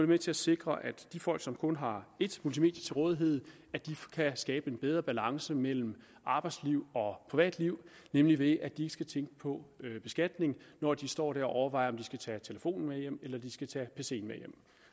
med til at sikre at de folk som kun har ét multimedie til rådighed kan skabe en bedre balance mellem arbejdsliv og privatliv nemlig ved at de ikke skal tænke på beskatning når de står og overvejer om de skal tage telefonen med hjem eller de skal tage pc’en med hjem